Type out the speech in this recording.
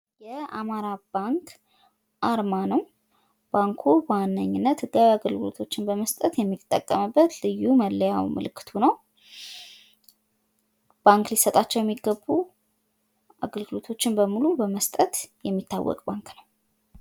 የአማራ ባንክ አርማ ነው ። ባንኩ በዋነኝነት ህጋዊ አገልግሎቶችን በመስጠት የሚጠቀምበት ልዩ መለያው ፣ ምልክቱ ነው። ባንክ ሊሰጣቸው የሚገቡ አገልግሎቶችን በሙሉ በመስጠት የሚታወቅ ባንክ ነው ።